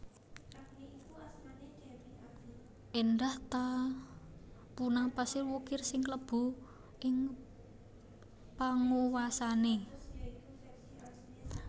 Éndah ta punang pasir wukir sing kalebu ing panguwasané